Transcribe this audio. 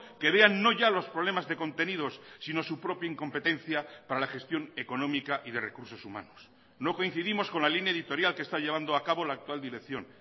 que vean no ya los problemas de contenidos sino su propia incompetencia para la gestión económica y de recursos humanos no coincidimos con la línea editorial que está llevando a cabo la actual dirección